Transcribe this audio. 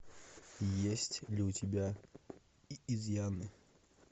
есть ли у тебя изъяны